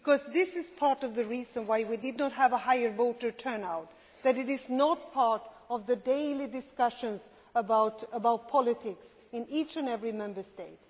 This is part of the reason why we did not have a higher voter turnout that it is not part of the daily discussions about politics in each and every Member State.